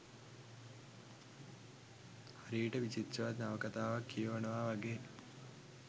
හරියට විචිත්‍රවත් නවකතාවක් කියවනවා වගේ